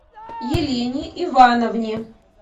елене ивановне